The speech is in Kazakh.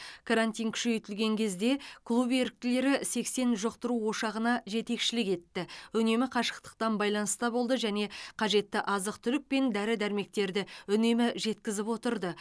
карантин күшейтілген кезде клуб еріктілері сексен жұқтыру ошағына жетекшілік етті үнемі қашықтықтан байланыста болды және қажетті азық түлік пен дәрі дәрмектерді үнемі жеткізіп отырды